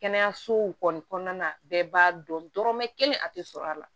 Kɛnɛyasow kɔni kɔnɔna na bɛɛ b'a dɔn dɔrɔmɛ kelen a tɛ sɔrɔ a la